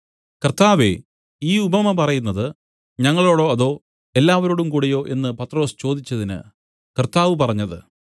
കർത്താവേ ഈ ഉപമ പറയുന്നത് ഞങ്ങളോടോ അതോ എല്ലാവരോടും കൂടെയോ എന്നു പത്രൊസ് ചോദിച്ചതിന് കർത്താവ് പറഞ്ഞത്